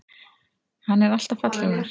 Hann er alltaf fallegur.